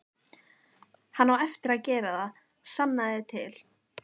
Hann á eftir að gera það, sannaðu til.